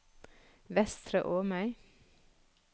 Vestre Åmøy